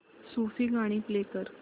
सूफी गाणी प्ले कर